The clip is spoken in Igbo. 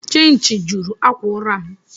Chinchi juru akwa ụra m.